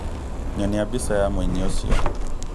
Nyonia mbica ya mũini ũcio.